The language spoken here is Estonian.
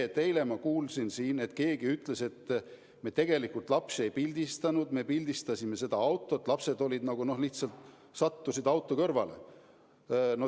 " Eile ma kuulsin siin, et keegi ütles, et me tegelikult lapsi ei pildistanud, me pildistasime seda autot, lapsed olid ... nagu lihtsalt sattusid auto kõrvale.